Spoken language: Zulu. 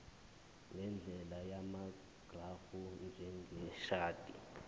ngendlela yamagrafu njengeshadi